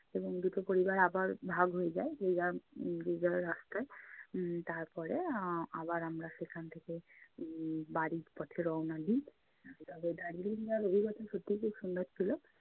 এবং দু'টো পরিবার আবার ভাগ হয়ে যায়, যে যার উম যে যার রাস্তায় উম তারপরে আহ আবার আমরা সেখান থেকে উম বাড়ির পথে রওয়ানা দিই। আহ তবে দার্জিলিং যাওয়ার অভিজ্ঞতা সত্যি খুব সুন্দর ছিলো।